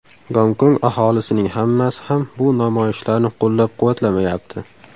Gonkong aholisining hammasi ham bu namoyishlarni qo‘llab-quvvatlamayapti.